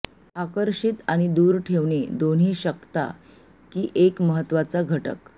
आकर्षित आणि दूर ठेवणे दोन्ही शकता की एक महत्त्वाचा घटक